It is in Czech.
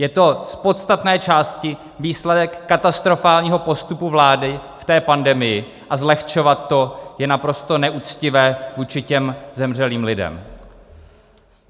Je to z podstatné části výsledek katastrofálního postupu vlády v té pandemii a zlehčovat to je naprosto neuctivé vůči těm zemřelým lidem.